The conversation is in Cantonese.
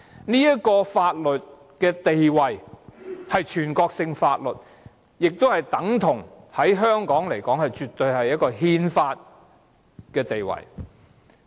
這項法律的地位是全國性法律，對香港而言，絕對等同具憲法地位。